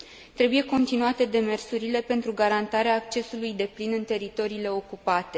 Trebuie continuate demersurile pentru garantarea accesului deplin în teritoriile ocupate.